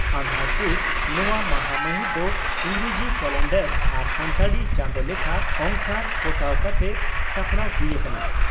ᱟᱜᱷᱟᱲᱼᱯᱩᱥ, ᱱᱚᱣᱟ ᱢᱟᱦᱟᱢᱟᱹᱦᱤᱛ ᱫᱚ ᱤᱸᱜᱽᱨᱟᱡᱤ ᱠᱟᱞᱮᱱᱰᱟᱨ ᱟᱨ ᱥᱟᱱᱛᱟᱲᱤ ᱪᱟᱸᱫᱚ ᱞᱮᱠᱷᱟ ᱚᱝᱥᱟᱨ ᱯᱚᱴᱟᱣ ᱠᱟᱛᱮ ᱥᱟᱯᱲᱟᱣ ᱦᱩᱭ ᱟᱠᱟᱱᱟ ᱾